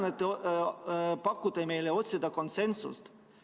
Täna te soovitate meil otsida konsensust.